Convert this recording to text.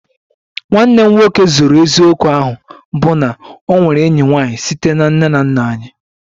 Nwanne m nwoke zoro eziokwu ahụ bụ na o nwere enyi nwanyị site na nne na nna anyị